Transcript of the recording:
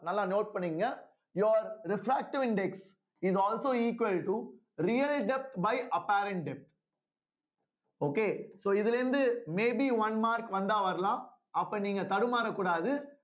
நல்லா note பண்ணிக்கோங்க your refractive index is also equal to real depth by apparent depth okay so இதுல இருந்து maybe one mark வந்தா வரலாம் அப்ப நீங்க தடுமாறக்கூடாது